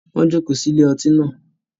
Wọn joko sí ilé ọtí náà